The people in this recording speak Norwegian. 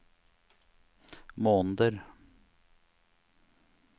måneder